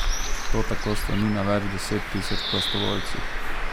To tako sloni na več deset tisoč prostovoljcih.